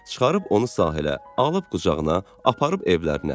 Çıxarıb onu sahilə, alıb qucağına, aparıb evlərinə.